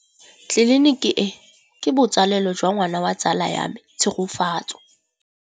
Tleliniki e, ke botsalêlô jwa ngwana wa tsala ya me Tshegofatso.